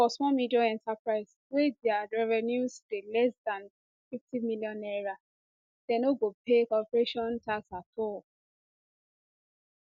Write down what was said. for small medium enterprise wey dia revenues dey less dan n50 million naira dem no go pay corporation tax at all